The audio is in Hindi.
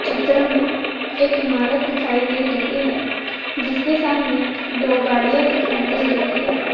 चित्र मे एक इमारत दिखाई दे रही है जिसके सामने दो गाड़िया दिखाई दे रही है।